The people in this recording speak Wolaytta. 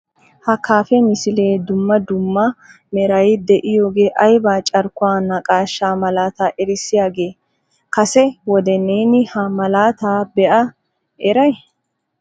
Ha kafee misilee dumma dumma meray de'iyooge aybba carkkuwa naqaashsha malaata erissoyaagee? Kase wode neeni ha malaata be'a eray ?